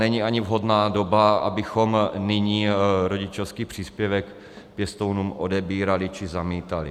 Není ani vhodná doba, abychom nyní rodičovský příspěvek pěstounům odebírali či zamítali.